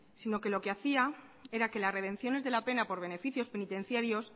sino que lo que hacía era que las redenciones de la pena por beneficios penitenciarios